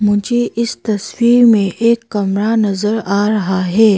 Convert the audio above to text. मुझे इस तस्वीर में एक कमरा नजर आ रहा है।